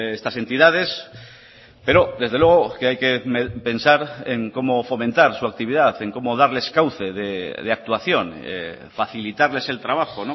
estas entidades pero desde luego que hay que pensar en cómo fomentar su actividad en cómo darles cauce de actuación facilitarles el trabajo